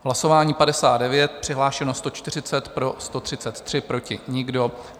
Hlasování 59, přihlášeno 140, pro 133, proti nikdo.